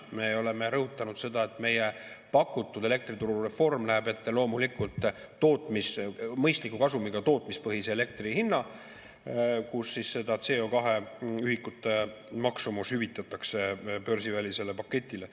Me oleme rõhutanud seda, et meie pakutud elektriturureform näeb ette loomulikult mõistliku kasumiga tootmispõhise elektri hinna, kus CO2-ühikute maksumus hüvitatakse börsivälisele paketile.